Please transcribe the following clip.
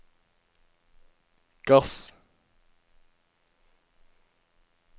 gass